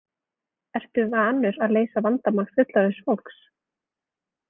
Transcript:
Ertu vanur að leysa vandamál fullorðins fólks?